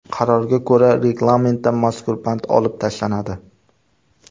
Qarorga ko‘ra, reglamentdan mazkur band olib tashlanadi.